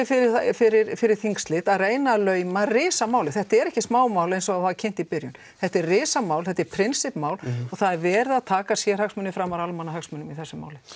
fyrir fyrir fyrir þingslit að reyna að lauma risamáli þetta er ekki smámál eins og það var kynnt í byrjun þetta er risamál þetta er prinsippmál og það er verið að taka sérhagsmuni framar almannahagsmunum í þessu máli